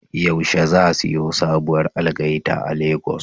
Yaushe za siyo sabuwar algaita a Lagos?